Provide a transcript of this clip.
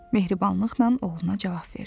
Mehribanlıqla oğluna cavab verdi.